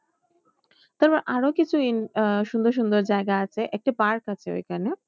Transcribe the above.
তবে আরো কিছু আহ সুন্দর সুন্দর জায়গা আছে একটি park আছে ওইখানে